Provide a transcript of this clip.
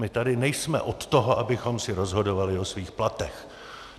My tady nejsme od toho, abychom si rozhodovali o svých platech!